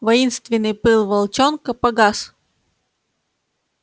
воинственный пыл волчонка погас